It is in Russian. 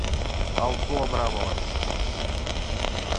алсу абрамова